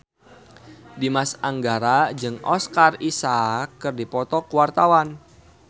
Dimas Anggara jeung Oscar Isaac keur dipoto ku wartawan